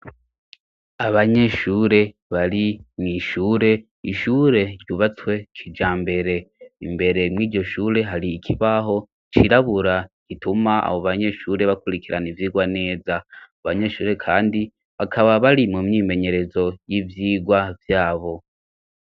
Abanyeshure bari mw'ishure ishure ryubatswe kijambere imbere mwiryo shure hari ikibaho cirabura gituma abo banyeshure bakurikirana ivyigwa neza ubo banyeshure kandi bakaba bari mu myimenyerezo y'ivyigwa vyabo.